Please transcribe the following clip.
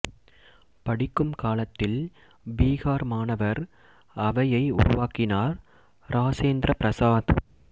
படிக்கும் காலத்தில் பீகார் மாணவர் அவையை உருவாக்கினார் இராசேந்திர பிரசாத்